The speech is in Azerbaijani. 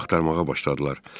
Sonra axtarmağa başladılar.